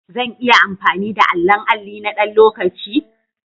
Zan iya amfani da allon alli na ɗan lokaci?